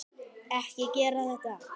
Ekki gera þetta.